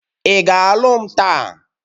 ị ga alụ m taa?